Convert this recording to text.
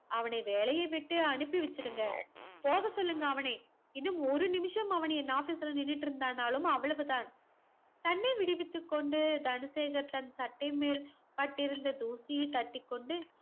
அவனை வேலைய விட்டு அனுப்பி வச்சிருங்க போக சொல்லுங்க அவனை இன்னும் ஒரு நிமிஷம் அவன் என் office இல் நின்னுட்டு இருந்தானாலும் அவ்ளவுதான் தன்னை விடுவித்து கொண்டு தனசேகர் தன் சட்டை மேல் பட்டு இருந்த தூசியை தட்டிக்கொண்டு